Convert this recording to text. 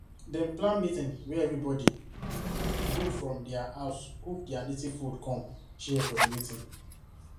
dem plan meeting wey everybody go from their house cook their native food come share for the meeting